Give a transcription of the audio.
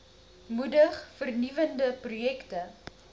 moedig vernuwende projekte